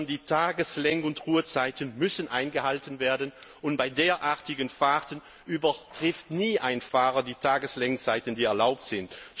Die Tageslenk und ruhezeiten müssen eingehalten werden, und bei derartigen Fahrten überschreitet ein Fahrer nie die Tageslenkzeiten, die erlaubt sind.